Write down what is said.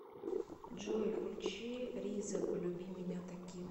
джой включи ризе полюби меня таким